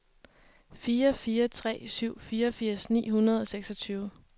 fire fire tre syv fireogfirs ni hundrede og seksogtyve